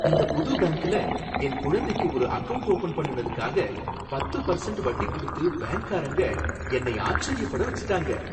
இந்த புது பேங்க்ல என் குழந்தைக்கு ஒரு அகவுண்ட் ஓப்பன் பண்ணுனதுக்காக பத்து பர்சண்ட் வட்டி குடுத்து பேங்க்காரங்க என்னை ஆச்சரியப்பட வச்சிட்டாங்க.